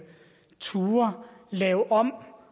turde lave om